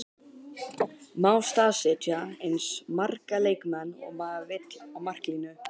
Má staðsetja eins marga leikmenn og maður vill á marklínu?